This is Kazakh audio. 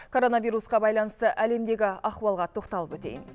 коронавирусқа байланысты әлемдегі ахуалға тоқталып өтейін